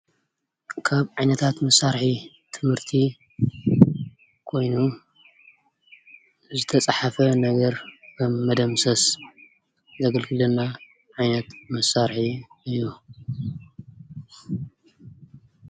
ካብ ዓይነታት መሳርሒ ትምህርቲ ኮይኑ ዝተጽሓፈ ነገር ንመደምሰስ ዘግልግለና ዓይነት መሳርሒ እዩ፡፡